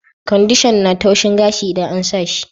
Kwandishan na taushin gashi idan an sa shi.